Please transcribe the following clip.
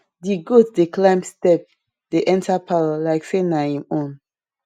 di goat dey climb step dey enter parlour like say na em own